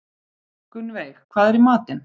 Gunnveig, hvað er í matinn?